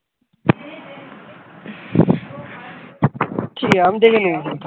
ঠিক আছে আমি দেখে নিয়েছি